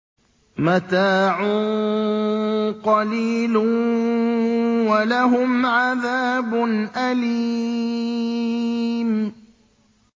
مَتَاعٌ قَلِيلٌ وَلَهُمْ عَذَابٌ أَلِيمٌ